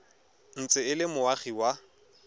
ntse e le moagi wa